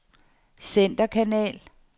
centerkanal